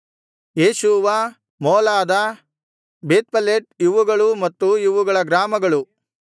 Jeshua ಮೋಲಾದ ಬೇತ್ಪೆಲೆಟ್ ಇವುಗಳೂ ಮತ್ತು ಇವುಗಳ ಗ್ರಾಮಗಳು